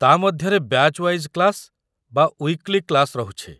ତା' ମଧ୍ୟରେ batch wise class ବା ୱିକ୍‌ଲି କ୍ଲାସ୍‌ ରହୁଛି ।